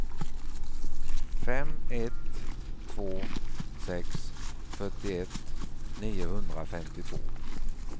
fem ett två sex fyrtioett niohundrafemtiotvå